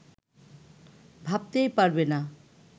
ভাবতেই পারবে না